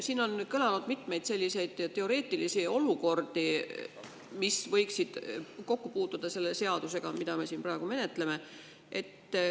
Siin on mitmeid teoreetilisi olukordi, mille puhul võiks olla kokkupuudet selle seadusega, mida me siin praegu menetleme.